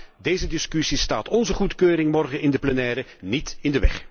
Maar deze discussie staat onze goedkeuring morgen in de plenaire niet in de weg.